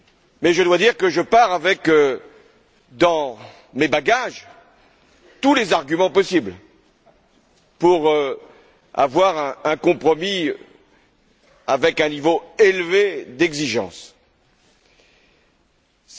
Mais je dois dire que je pars avec, dans mes bagages, tous les arguments possibles pour obtenir un compromis avec un niveau d'exigence élevé.